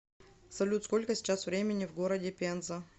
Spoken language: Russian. салют сколько сейчас времени в городе пенза